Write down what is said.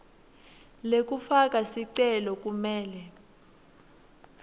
lekufaka sicelo kumele